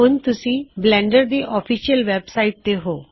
ਹੁਣ ਤੁਸੀ ਬਲੈਨਡਰ ਦੀ ਆਫਿਸ਼ਿਅਲ ਵੈੱਬਸਾਇਟ ਤੇ ਹੋ